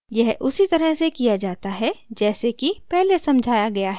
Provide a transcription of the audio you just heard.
यह उसी तरह से किया जाता है जैसे कि पहले समझाया गया है